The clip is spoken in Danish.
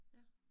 Ja